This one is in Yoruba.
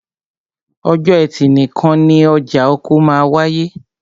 Ọjọ́ ẹtì nìkan ni ọjà oko máa wááyé